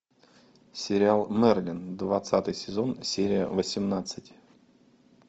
сериал мерлин двадцатый сезон серия восемнадцать